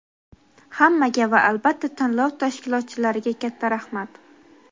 Hammaga va albatta tanlov tashkilotchilariga katta raxmat.